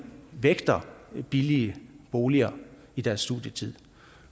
vægter billige boliger i deres studietid